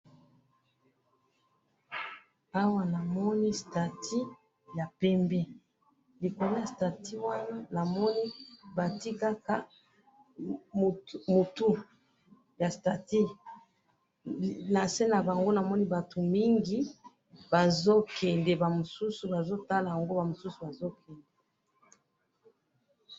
awa na moni statut ya pembe likolo ya statut wana namoni batiye kaka motou ya statut nase nabango namoni bato mingi bazo kende ba mosousou bazo tala yango ba mosousou bazo kende.